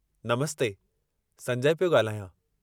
नमस्ते, संजय पियो ॻाल्हायां।